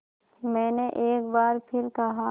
मैंने एक बार फिर कहा